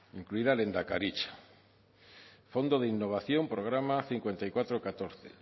incluida lehendakaritza fondo de innovación programa cinco mil cuatrocientos catorce